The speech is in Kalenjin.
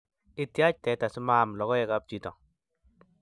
Ityach teta simaam lokoek ab chito